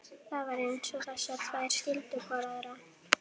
Flestir hafa málað nokkurs konar kastala sem er ólokið.